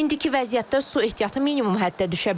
İndiki vəziyyətdə su ehtiyatı minimum həddə düşə bilər.